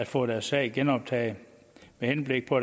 for at sagen genoptages med henblik på